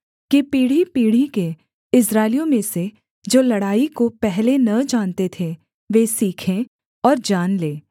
कि पीढ़ीपीढ़ी के इस्राएलियों में से जो लड़ाई को पहले न जानते थे वे सीखें और जान लें